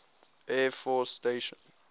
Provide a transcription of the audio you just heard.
air force station